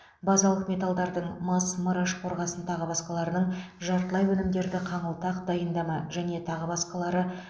базалық металдардың мыс мырыш қорғасын тағы басқаларының жартылай өнімдерді қаңылтақ дайындама және тағы басқалары